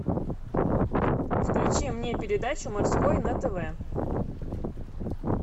включи мне передачу морской на тв